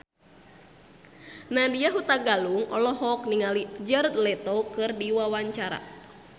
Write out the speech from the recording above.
Nadya Hutagalung olohok ningali Jared Leto keur diwawancara